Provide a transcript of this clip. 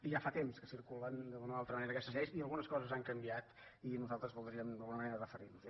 ja fa temps que circulen d’una o altra manera aquestes lleis i algunes coses han canviat i nosaltres voldríem d’alguna manera referir·nos·hi